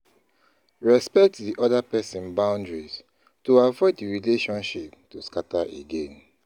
Respect di other person boundaries to avoid di relationship to scatter again